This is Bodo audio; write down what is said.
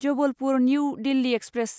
Jabalpur new Delhi express